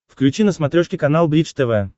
включи на смотрешке канал бридж тв